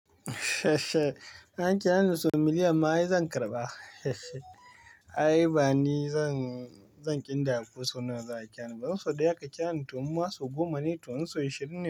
An kira ni ma sau miliyan ma ai zan karɓa. Ai bani zan, zan ƙidaya kusan nawa za a kyan. Ban so da yaƙa kyan tuwon masu goma ne tuwon so ashirin.